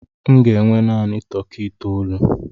M ga enwe naanị tọkị itoolu.